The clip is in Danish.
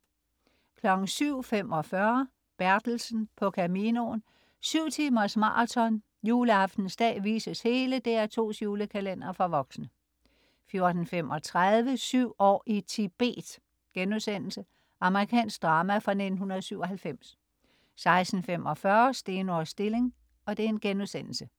07.45 Bertelsen på Caminoen. Syv timers maraton. Juleaftensdag vises hele DR2's julekalender for voksne 14.35 Syv år i Tibet.* Amerikansk drama fra 1997 16.45 Steno og Stilling*